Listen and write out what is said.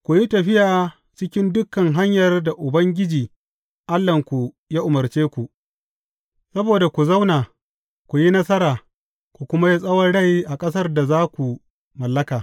Ku yi tafiya cikin dukan hanyar da Ubangiji Allahnku ya umarce ku, saboda ku zauna, ku yi nasara, ku kuma yi tsawon rai a ƙasar da za ku mallaka.